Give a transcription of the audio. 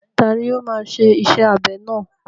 Tani ó máa ṣe iṣẹ́ abẹ náà?